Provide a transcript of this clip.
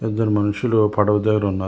ఇద్దరి మనుషులు పడవ దగ్గర ఉన్నారు.